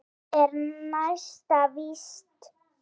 Það er næsta víst!